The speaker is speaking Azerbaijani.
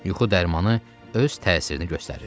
Yuxu dərmanı öz təsirini göstərirdi.